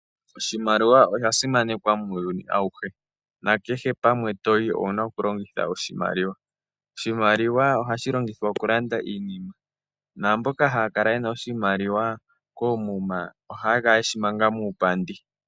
Oshimaliwa osha simanekwa muuyuni awuhe, nakehe pamwe to yi owu na okulongitha oshimaliwa. Oshimaliwa ohashi longithwa okulanda iinima ,naamboka haa kala ye na oshimaliwa koomuma ohaa kala yeshi manga muupandi.